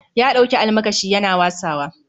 Ya ɗauki almakashi Yana wasawa